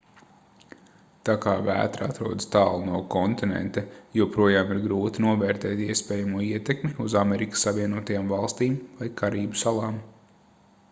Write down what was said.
tā kā vētra atrodas tālu no kontinenta joprojām ir grūti novērtēt iespējamo ietekmi uz amerikas savienotajām valstīm vai karību salām